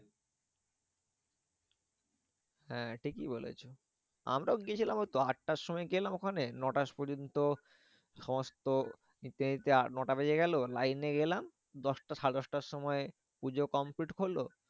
হ্যাঁ ঠিকই বলেছো। আমরাও গিয়েছিলাম ওইতো আটটার সময় গেলাম ওখানে। নটা পর্যন্ত সমস্ত নিতে নিতে আ নটা বেজে গেলো। লাইনে গেলাম দশটা সাড়ে দশটার সময় পুজো complete হল।